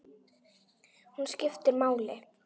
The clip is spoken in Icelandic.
Hún skiptir máli.